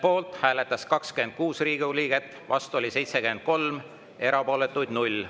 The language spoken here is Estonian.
Poolt hääletas 26 Riigikogu liiget, vastu oli 73, erapooletuid 0.